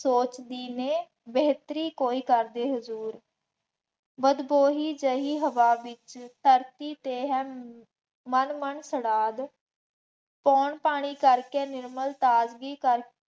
ਸੋਚਕੀ ਨੇ ਬੇਤਹਰੀ ਕੋਈ ਕਰਦੇ ਹਜ਼ੂਰ, ਬਦਖੋਹੀ ਜਿਹੀ ਹਵਾ ਵੀ ਧਰਤੀ ਤੇ ਹੈ, ਮਨ ਮਨ ਖੜਾਲ, ਕੌਣ ਪਾਣੀ ਕਰਕੇ ਨਿਰਮਲ ਤਾਜ਼ਗੀ ਕਰ